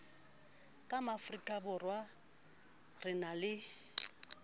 ka maafrikaborwa re na le